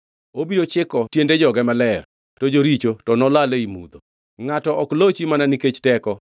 Obiro chiko tiende joge maler to joricho to nolal ei mudho. “Ngʼato ok lochi mana nikech teko;